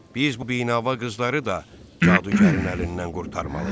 Biz bu binava qızları da cadugarın əlindən qurtarmalıyıq.